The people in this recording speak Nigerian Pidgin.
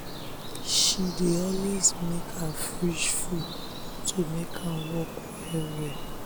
she dey always make her fridge full to make am work well well.